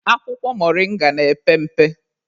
Akwụkwọ moringa na-epe mpe.